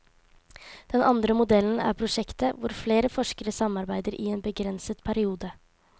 Den andre modellen er prosjektet, hvor flere forskere samarbeider i en begrenset periode.